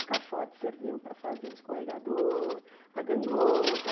Os caixotes serviam para fazer o escorregador, a gangorra.